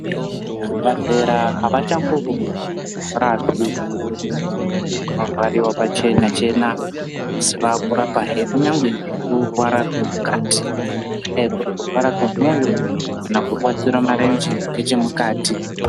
Zvibhadhlera havachangorapi zvirwere zvinorwariwa pachena-chena, asi vaakurapahe kunyangwe nekurwara kwemukati. Kungadai kuri kurwara kwemwoyo kana kurwadzira marenje ngechemukati.